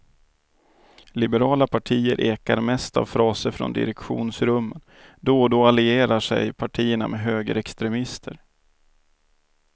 Liberala partier ekar mest av fraser från direktionsrummen, då och då allierar sig partierna med högerextremister.